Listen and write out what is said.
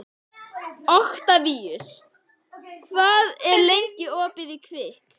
Oktavíus, hvað er lengi opið í Kvikk?